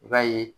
I b'a ye